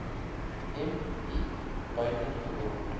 m i buitengewoon